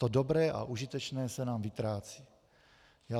To dobré a užitečné se nám vytrácí.